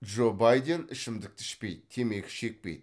джо байден ішімдікті ішпейді темекі шекпейді